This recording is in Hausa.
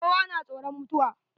Kowa na tsoron mutuwa.